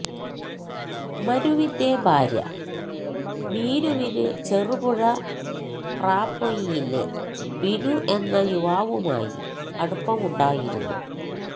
മനുവിന്റെ ഭാര്യ മീനുവിന് ചെറുപുഴ പ്രാപൊയിലിലെ ബിനു എന്നയുവാവുമായി അടുപ്പമുണ്ടായിരുന്നു